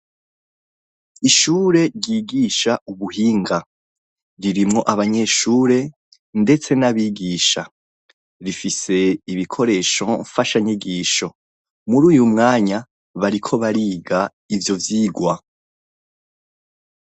Ishure ryigisha ubuhinga ririmwo abanyeshure ndetse n'abigisha, rifise ibikoresho mfashanyigisho. Muri uyu mwanya bariko bariga ivyo vyigwa.